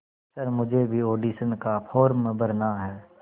sir मुझे भी audition का फॉर्म भरना है